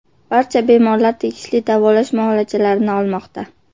Barcha bemorlar tegishli davolash muolajalarini olmoqda.